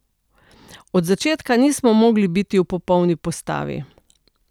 Od začetka nismo mogli biti v popolni postavi.